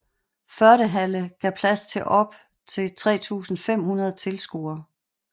Fördehalle gav plads til op til 3500 tilskuere